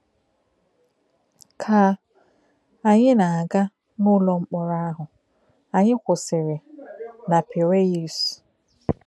Kà anyị nọ na-aga n’ụlọ mkpọ̀rọ ahụ, anyị kwụsìrì na Piraeus.